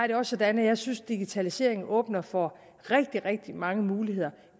det også sådan at jeg synes at digitaliseringen åbner for rigtig rigtig mange muligheder